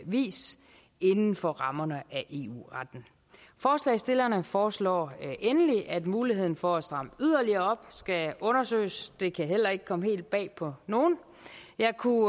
vis inden for rammerne af eu retten forslagsstillerne foreslår endelig at muligheden for at stramme yderligere op skal undersøges det kan heller ikke komme helt bag på nogen jeg kunne